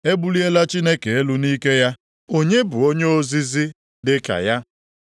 “E buliela Chineke elu nʼike ya, onye bụ onye ozizi dịka ya?